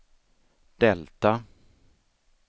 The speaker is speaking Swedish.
delta